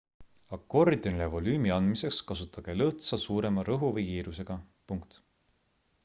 akordionile volüümi andmiseks kasutage lõõtsa suurema rõhu või kiirusega